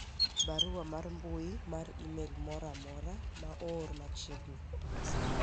barua mar mbui mar email moro amora ma oor machiegni